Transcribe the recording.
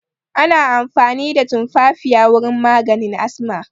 Ana amfani da tumfafiya wurin maganin asma